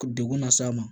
Degun las'a ma